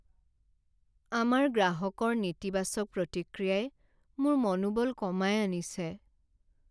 আমাৰ গ্ৰাহকৰ নেতিবাচক প্ৰতিক্ৰিয়াই মোৰ মনোবল কমাই আনিছে।